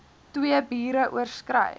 twee biere oorskry